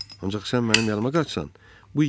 Ancaq sən mənim yanıma qaçsan, bu igidlikdir.